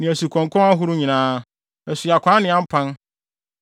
ne asukɔnkɔn ahorow nyinaa, asuɔkwaa ne ampan.